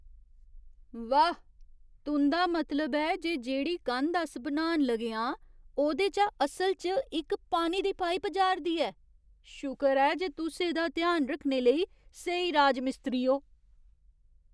वाह्, तुं'दा मतलब ऐ जे जेह्ड़ी कंध अस बनान लगे आं ओह्दे चा असल च इक पानी दी पाइप जा'रदी ऐ? शुकर ऐ जे तुस एह्दा ध्यान रक्खने लेई स्हेई राजमिस्त्री ओ।